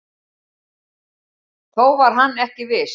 Þó var hann ekki viss.